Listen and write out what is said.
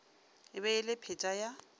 e be le pheta ya